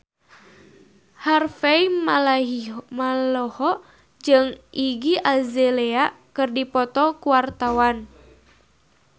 Harvey Malaiholo jeung Iggy Azalea keur dipoto ku wartawan